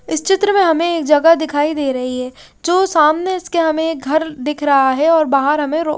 इस चित्र में हमें एक जगह दिखाई दे रही है जो सामने इसके हमें घर दिख रहा है और बाहर हमें रो--